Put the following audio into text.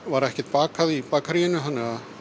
var ekkert bakað í bakaríinu þannig að